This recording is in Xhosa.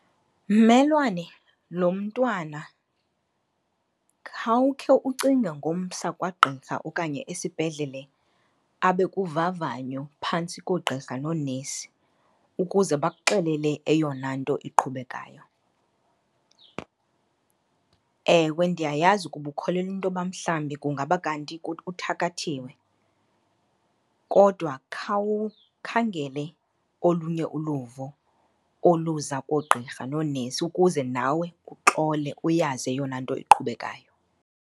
Mmelwane, lo mntwana khawukhe ucinge ngomsa kwagqirha okanye esibhedlele, abe kuvavanyo phantsi koogqirha noonesi ukuze bakuxelele eyona nto iqhubekayo. Ewe, ndiyayazi ukuba ukholelwa intoba mhlawumbi kungaba kanti uthakathiwe kodwa khawukhangele olunye uluvo oluza koogqirha noonesi ukuze nawe uxole uyazi eyona nto iqhubekayo.